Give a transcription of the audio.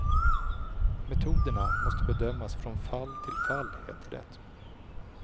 Metoderna måste bedömas från fall till fall, heter det.